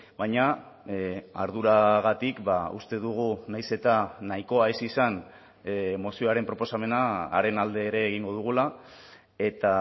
baina arduragatik uste dugu nahiz eta nahikoa ez izan mozioaren proposamenaren alde ere egingo dugula eta